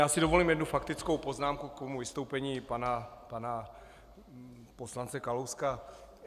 Já si dovolím jednu faktickou poznámku k tomu vystoupení pana poslance Kalouska.